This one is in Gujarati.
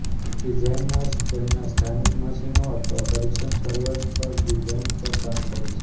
ડિઝાઇનર્સ તેમના સ્થાનિક મશીનો અથવા પરીક્ષણ સર્વર પર ડિઝાઇન પર કામ કરે છે